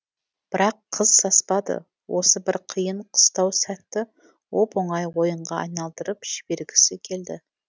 бірақ қыз саспады осы бір қиын қыстау сәтті оп оңай ойынға айналдырып жібергісі келді